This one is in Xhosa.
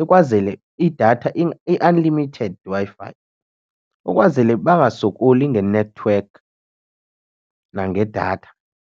ikwazele idatha i-unlimited Wi-Fi ukwazele bangasokoli ngenethiwekhi nangedatha.